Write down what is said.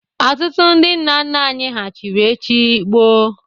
Ọtụtụ ndị nna nna anyị ha chiri eche gboo.